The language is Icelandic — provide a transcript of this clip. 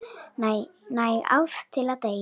Næg ást til að deila.